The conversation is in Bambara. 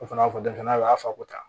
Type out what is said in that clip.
O fana b'a fɔ denmisɛnnin a y'a fako tan